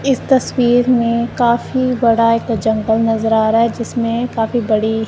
इस तस्वीर में काफी बड़ा एक जंगल नजर आ रहा है जिसमें काफी बड़ी--